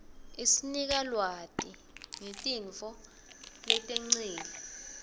isnika lwati ngetintfo letengcile